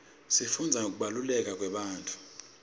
sifundza ngekubaluleka kwebantfu